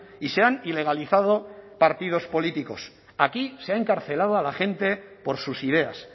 y se han ilegalizado partidos políticos aquí se ha encarcelado a la gente por sus ideas